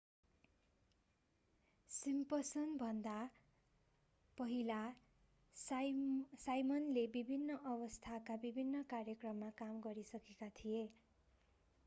सिम्पसनभन्दा पहिला साइमनले विभिन्न अवस्थाका विभिन्न कार्यक्रममा काम गरिसकेका थिए